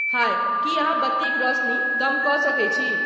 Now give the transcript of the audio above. हाय कि अहाँ बत्तीक रौसनी कम कए सकइत छि।